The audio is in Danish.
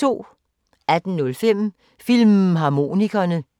18:05: Filmharmonikerne